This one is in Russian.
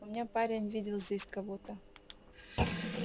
у меня парень видел здесь кого-то